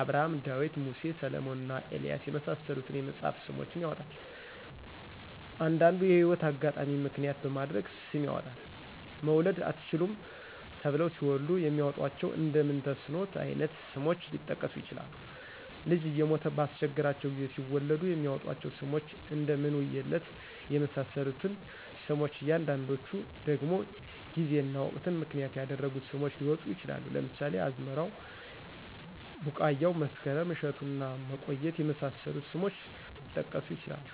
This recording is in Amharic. አብርሀም :ዳዊት :ሙሴ: ሰለሞንና ኤልያስ የመሳሰሉትን የመጽሐፍ ስሞችን ያወጣል። አንዱንዲ የህይወት አጋጣሚን ምክንያት በማድረግ ስም ያወጣል መውለድ አትችሉም ተብለው ሲወልዱ የሚያወጧቸው እንደ ምንተስኖት አይነት ስሞች ሊጠቀሱ ይችላሉ። ልጅ እየሞተ ባስቸገራቸው ጊዜ ሲወልዱ የሚያወጧቸው ስሞች እደ ምንውየለት የመሳሰሉት ሲሆኑ አንዳንዶቹ ደግሞ ጊዜና ወቅትን ምክንያት ያደረጉ ስሞች ሊወጡ ይችላሉ ለምሳሌ አዝመራው :ቢቃያው :መስከረም :እሸቱና መቆየት የመሳሰሉት ስሞች ሊጠቀሱ ይችላሉ።